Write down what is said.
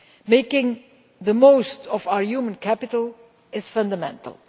Making the most of our human capital is fundamental.